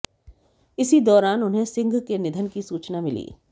इसी दौरान उन्हें सिंह के निधन की सूचना मिली